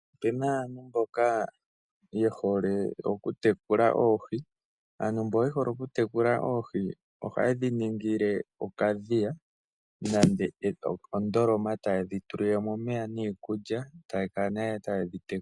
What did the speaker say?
Opena aantu mboka ye hole oku tekula oohi, aantu mbo yehole okutekula oohi oha ye dhi ningile okadhiya nande ondoloma taye dhi tulilemo omeya niikulya taya kala nee taye dhi tekula.